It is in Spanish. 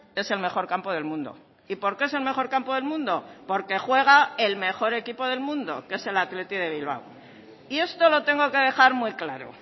es el mejor campo del mundo y por qué es el mejor campo del mundo porque juega el mejor equipo del mundo que es el athletic de bilbao y esto lo tengo que dejar muy claro